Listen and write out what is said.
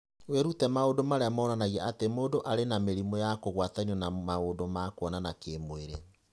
Wĩrute maũndũ marĩa monanagia atĩ mũndũ arĩ na mĩrimũ ya kũgwatanio na maũndũ ma kuonana kĩmwĩrĩ.